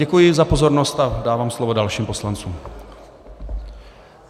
Děkuji za pozornost a dávám slovo dalším poslancům.